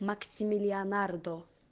максимилианардо